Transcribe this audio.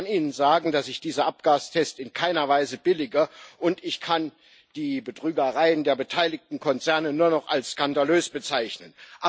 Ich kann Ihnen sagen, dass ich diese Abgastests in keiner Weise billige, und ich kann die Betrügereien der beteiligten Konzerne nur noch als skandalös bezeichnen.